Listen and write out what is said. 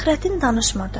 Fəxrəddin danışmırdı.